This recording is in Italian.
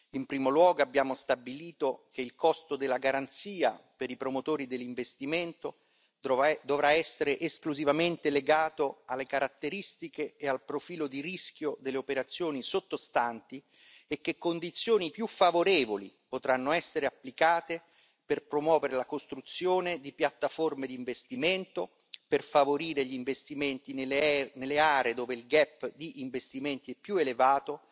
In primo luogo, abbiamo stabilito che il costo della garanzia per i promotori dell'investimento dovrà essere esclusivamente legato alle caratteristiche e al profilo di rischio delle operazioni sottostanti e che condizioni più favorevoli potranno essere applicate per promuovere la costruzione di piattaforme di investimento, per favorire gli investimenti nelle aree dove il gap di investimenti è più elevato